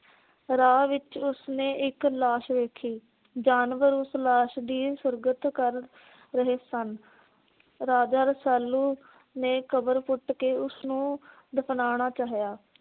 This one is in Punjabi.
ਰਾਹ ਵਿਚ ਉਸ ਨੇ ਇਕ ਲਾਸ਼ ਵੇਖੀ। ਜਾਨਵਰ ਉਸ ਲਾਸ਼ ਦੀ ਸੁਰਗਤ ਕਰ ਰਹੇ ਸਨ। ਰਾਜਾ ਰਸਾਲੂ ਨੇ ਕਬਰ ਪੁੱਟ ਕੇ ਉਸ ਨੂੰ ਦਫਨਾਉਣਾ ਚਾਹਿਆ।